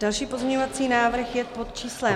Další pozměňovací návrh je pod číslem -